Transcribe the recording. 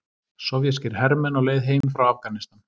Sovéskir hermenn á leið heim frá Afganistan.